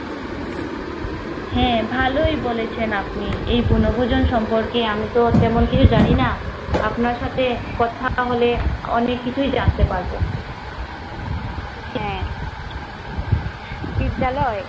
হ্যা ভালোয় বলেছেন আপনি বনভুজন সম্পর্কে আমি তো তেমন কিছু জানি না আপনার সাথে কথা হলে অনেক কিছু জানতে পারব। হ্যা বিদ্যালয়